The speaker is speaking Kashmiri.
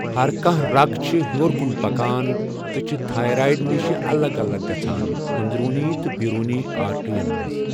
ہَر کانٛہہ رگ چھِ ہیوٚر کُن پکان تہٕ چھِ تھایرایِڑ نِش الگ الگ گَژھان أنٛدروٗنی تہٕ بیروٗنی آرٹرٛین منٛز.